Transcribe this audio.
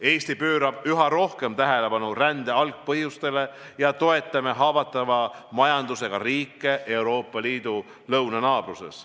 Eesti pöörab üha rohkem tähelepanu rände algpõhjustele ja me toetame haavatava majandusega riike Euroopa Liidu lõunanaabruses.